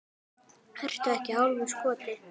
Ertu ekki hálfur skoti?